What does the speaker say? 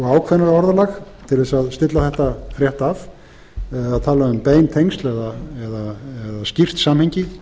ákveðnara orðalag til þess að stilla þetta rétt það er talað um bein tengsl eða skýrt samhengi